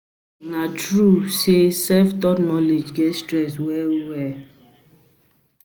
abeg, na true say self-taught knowledge get stress well well?